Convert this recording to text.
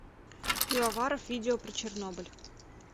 пивоваров видео про чернобыль